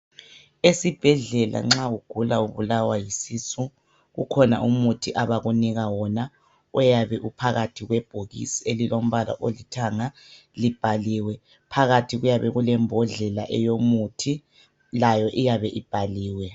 Esibhedlela nxa ugula ubulawa yisisu kukhona umuthi abakunika wona oyabe uphakathi kwebhokisi elilombala olithanga libhaliwe, phakathi kuyabe kulembodlela eyomuthi layo iyabe ibhaliwe.